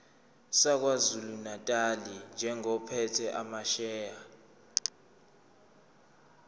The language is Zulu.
sakwazulunatali njengophethe amasheya